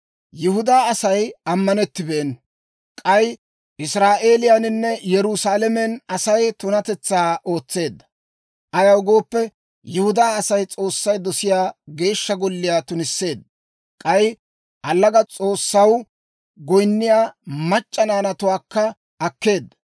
Yihudaa Asay ammanettibeenna; k'ay Israa'eeliyaaninne Yerusaalamen Asay tunatetsaa ootseedda; ayaw gooppe, Yihudaa Asay S'oossay dosiyaa Geeshsha Golliyaa tunisseedda; k'ay allaga s'oossaw goyinniyaa mac'c'a naanatuwaakka akkeedda.